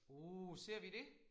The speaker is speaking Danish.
Oh ser vi det?